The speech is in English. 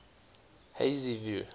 hazyview